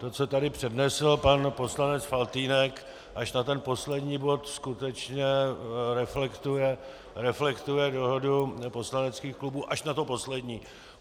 To, co tady přednesl pan poslanec Faltýnek, až na ten poslední bod skutečně reflektuje dohodu poslaneckých klubů - až na to poslední.